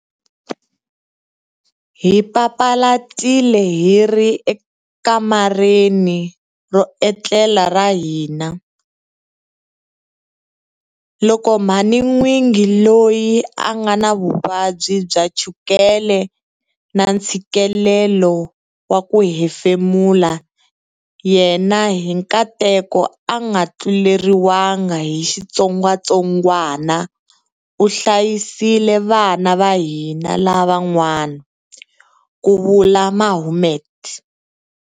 Hi papalatile hi ri ekamareni ro etlela ra hina, loko mhanin'wingi loyi a nga na vuvabyi bya chukele na ntshikelelo wa ku hefemula yena hi nkateko a nga tluleriwangi hi xitsongwatsongwana u hlayisile vana va hina lavan'wana, ku vula Mohammed.